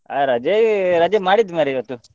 ಹಾ ರಜೆ, ರಜೆ ಮಾಡಿದ್ದು ಮರ್ರೆ ಇವತ್ತು.